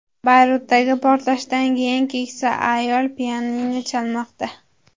Bayrutdagi portlashdan keyin keksa ayol pianino chalmoqda.